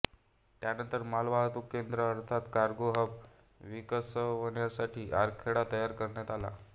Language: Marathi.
त्यानंतर मालवाहतूक केंद्र अर्थात कार्गो हब विकसवण्याचा आराखडा तयार करण्यात आला